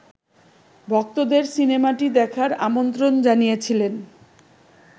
ভক্তদের সিনেমাটি দেখার আমন্ত্রণ জানিয়েছিলেন